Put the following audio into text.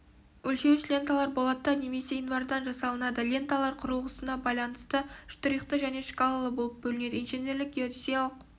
өлшеуіш ленталар болаттан немесе инвардан жасалынады ленталар құрылғысына байланысты штрихты және шкалалы болып бөлінеді инженерлік геодезиялық